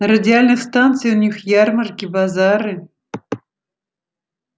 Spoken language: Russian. радиальных станциях у них ярмарки базары